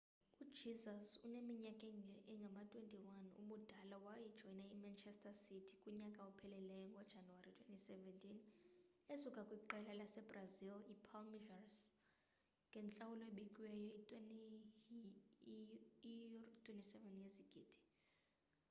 ujesus oneminyaka engama-21 ubudala wajoyina imanchester city kunyaka ophelileyo ngojanuwari 2017 esuka kwiqela lasebrazil ipalmeiras ngentlawulo ebikiweyo ye-£ 27 yezigidi